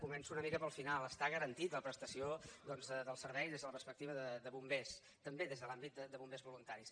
començo una mica pel final està garantida la prestació doncs del servei des de la perspectiva de bombers també des de l’àmbit de bombers voluntaris